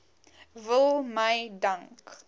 wil my dank